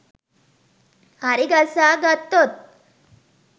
හරිගස්සා ගත්තොත්